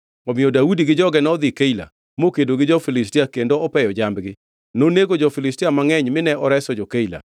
Omiyo Daudi gi joge nodhi Keila, mokedo gi jo-Filistia kendo opeyo jambgi. Nonego jo-Filistia mangʼeny mine oreso jo-Keila.